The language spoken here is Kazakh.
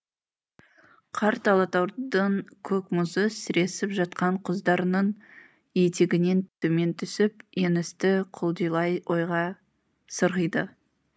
қарт алатаудың көк мұзы сіресіп жатқан құздарының етегінен төмен түсіп еңісті құлдилай ойға сырғиды